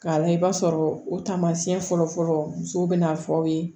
K'a layɛ i b'a sɔrɔ o tamasiyɛn fɔlɔfɔlɔ musow bɛna fɔ aw ye